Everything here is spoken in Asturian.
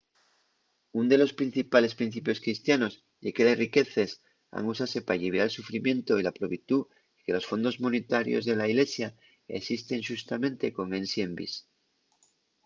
ún de los principales principios cristianos ye que les riqueces han usase p’alliviar el sufrimientu y la probitú y que los fondos monetarios de la ilesia esisten xustamente con esi envís